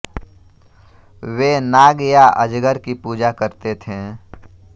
वे नाग या अजगर की पूजा करते थे